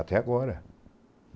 Até agora.